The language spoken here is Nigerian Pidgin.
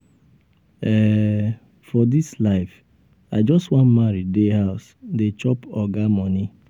um for dis life i just wan marry dey house dey chop oga um moni.